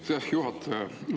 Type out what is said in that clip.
Aitäh, juhataja!